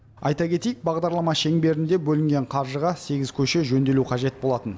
айта кетейік бағдарлама шеңберінде бөлінген қаржыға сегіз көше жөнделу қажет болатын